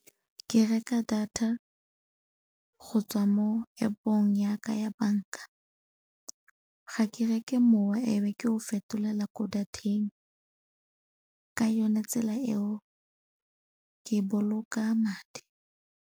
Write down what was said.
Ke reka data go tswa mo App-ong ya ka ya banka. Ga ke reke mowa e be ke o fetolela ko data-eng, ka yone tsela eo ke boloka madi.